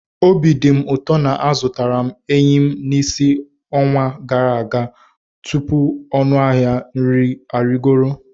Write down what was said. Obi dị m ụtọ na m zụtara eyịm n'isi ọnwa gara aga tupu ọnụ ahịa nri arịgoro.